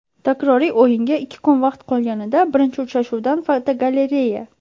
Takroriy o‘yinga ikki kun vaqt qolganida birinchi uchrashuvdan fotogalereya.